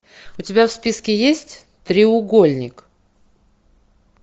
у тебя в списке есть треугольник